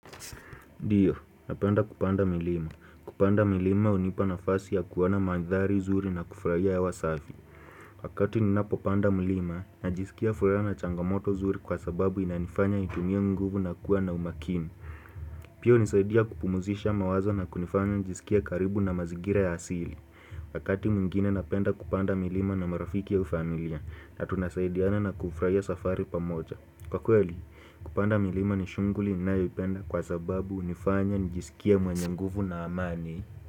Ndiyo napenda kupanda milima kupanda milima unipa nafasi ya kuona manthari zuri na kufurahia hewa safi wakati ninapopanda mlima najisikia furaha na changamoto zuri kwa sababu inanifanya nitumie nguvu na kuwa na umakini pia hunisaidia kupumzisha mawazo na kunifanya njisikia karibu na mazingira ya asili wakati mwngine napenda kupanda milima na marafiki au familia na tunasaidiana na kufurahia safari pamoja kwa kweli kupanda milima ni shunghuli ninayoipenda kwa sababu hunifanya njisikie mwenye nguvu na amani.